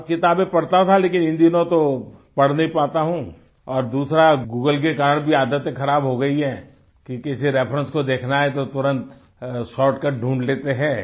और किताबें पढ़ता था लेकिन इन दिनों तो पढ़ नहीं पाता हूँ और दूसरा गूगल के कारण भी आदतें ख़राब हो गई हैं क्योंकि अगर किसी रेफरेंस को देखना है तो तुरंत शॉर्टकट ढूंढ लेते हैं